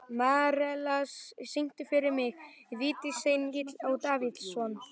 Marella, syngdu fyrir mig „Vítisengill á Davidson“.